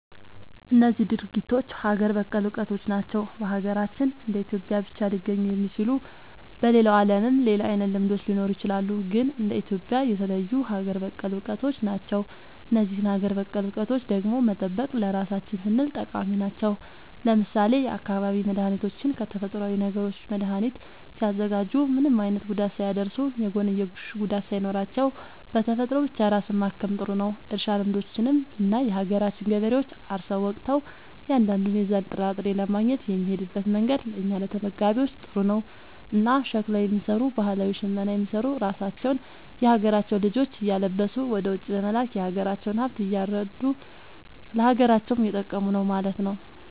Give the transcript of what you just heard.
እነዚህ ድርጊቶች ሀገር በቀል እውቀቶች ናቸው። በሀገራችን እንደ ኢትዮጵያ ብቻ ሊገኙ የሚችሉ። በሌላው ዓለምም ሌላ አይነት ልምዶች ሊኖሩ ይችላሉ። ግን እንደ ኢትዮጵያ የተለዩ ሀገር በቀል እውቀቶች ናቸው። እነዚህን ሀገር በቀል እውቀቶች ደግሞ መጠበቅ ለራሳችን ስንል ጠቃሚ ናቸው። ለምሳሌ የአካባቢ መድኃኒቶችን ከተፈጥሮዊ ነገሮች መድኃኒት ሲያዘጋጁ ምንም አይነት ጉዳት ሳያደርሱ፣ የጎንዮሽ ጉዳት ሳይኖራቸው፣ በተፈጥሮ ብቻ ራስን ማከም ጥሩ ነዉ። እርሻ ልምዶችንም ብናይ የሀገራችን ገበሬዎች አርሰው ወቅተው እያንዳንዱን የዛን ጥራጥሬ ለማግኘት የሚሄድበት መንገድ ለእኛ ለተመጋቢዎች ጥሩ ነው። እና ሸክላ የሚሰሩ ባህላዊ ሽመና የሚሰሩ ራሳቸውን የሀገራቸውን ልጆች እያለበሱ ወደ ውጪ በመላክ የሀገራቸውን ሃብት እያረዱ ለሀገራቸውም እየጠቀሙ ነው ማለት።